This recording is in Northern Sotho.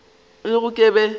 le gona ke be ke